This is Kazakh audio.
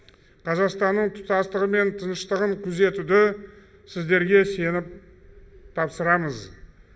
қазақстанның тұтастығы мен тыныштығын күзетуді сіздерге сеніп тапсырамыз